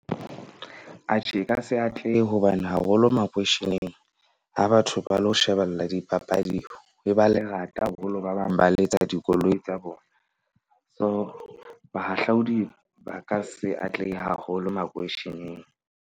Atjhe e ka se atlehe hobane haholo makweisheneng ha batho ba lo shebella dipapadi ho ba lerata haholo, ba bang ba letsa dikoloi tsa bona. So, bahahlaodi ba ka se atlehe haholo makweisheneng.